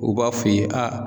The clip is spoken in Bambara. U b'a f'i ye aa